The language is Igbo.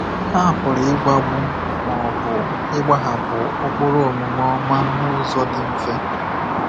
Ha pụrụ ịgwagbu ma ọ bụ ịgbahapụ ụkpụrụ omume ọma n’ụzọ dị mfe.